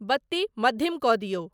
बत्ती मद्धिम कऽ दियौ।